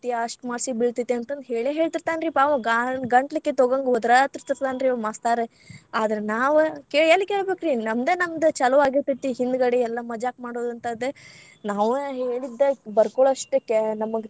ಅಷ್ಟ marks ಗ್‌ ಬೀಳತೇತಿ ಅಂತಂದ ಹೇಳೇ ಹೇಳತೀರ್ತಾನರಿ ಪಾ ಅವಾ ಗಾಳ ಗಂಟ್ಲ ಕಿತ್ತೊಹೋಗೊ ಹಂಗ್‌ ಒದರಾರ್ತೀರ್ತಾನರೀ ಅವ ಮಾಸ್ತರ್‌, ಆದ್ರ ನಾವ್‌ ಕೆ ಎಲ್ಲ ಕೇಳ್ಬೇಕರೀ ನಮ್ದ್‌ ನಮ್ದ್‌ ಚಾಲು ಆಗಿರ್ತೇತಿ ಹಿಂದಗಡೆ ಎಲ್ಲಾ ಮಜಾಕ ಮಾಡೊದಂತಾದ್ದ, ನಾವ ಹೇಳಿದ್ದ ಬರಕೊಳೋ ಅಷ್ಟ ಕೆ ನಮಗ್‌.